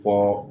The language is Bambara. Fɔ